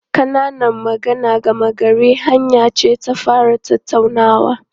Ƙananan magana gama garin hanya ce ta fara tattaunawa.